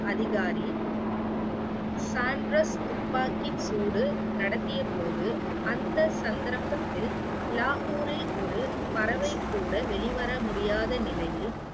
அதிகாரி சாண்டர்ஸ் துப்பாக்கி சூடு நடத்திய போது அந்த சந்தர்ப்பத்தில் லாகூரில் ஒரு பறவை கூட வெளிவர முடியாத நிலையில்